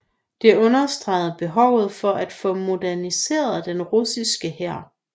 Det understregede behovet for at få moderniseret den russiske hær